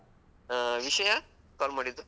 ಹಾ ವಿಷಯ? call ಮಾಡಿದ್ದು?